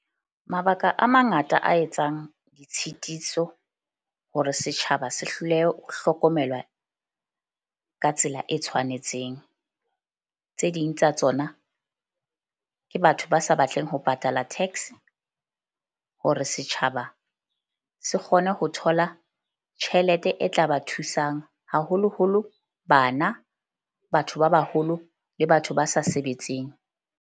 Mabaka a mangata a etsang ditshitiso hore setjhaba se hlolehe ho hlokomelwa ka tsela e tshwanetseng. Tse ding tsa tsona ke batho ba sa batleng ho patala tax hore setjhaba se kgone ho thola tjhelete e tla ba thusang, haholoholo bana, batho ba baholo le batho ba sa sebetseng.